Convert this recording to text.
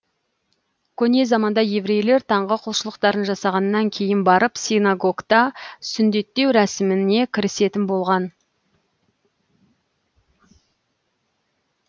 көне заманда еврейлер таңғы құлшылықтарын жасағаннан кейін барып синагогта сүндеттеу рәсіміне кірісетін болған